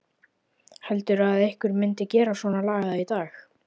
Heldurðu að einhver myndi gera svonalagað í dag?